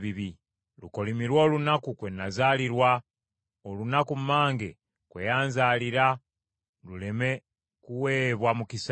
Lukolimirwe olunaku kwe nazaalirwa! Olunaku mmange kwe yanzaalira luleme kuweebwa mukisa!